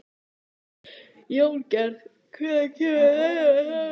Jóngerð, hvenær kemur leið númer þrjátíu og sjö?